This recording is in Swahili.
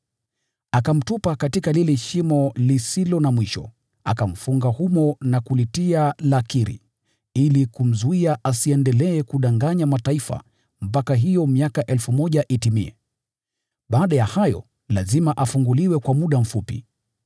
Akamtupa katika lile Shimo, akamfunga humo na kulitia lakiri, ili kumzuia asiendelee kudanganya mataifa mpaka hiyo miaka 1,000 itimie. Baada ya hayo lazima afunguliwe kwa muda mfupi.